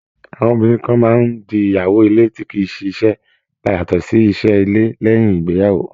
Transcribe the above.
Àwọn obìnrin kan máa ń di ìyàwó ilé tí kì í ṣiṣẹ́ yàtọ̀ sí iṣẹ́ ilé, lẹ́uìn ìgbéyàwó.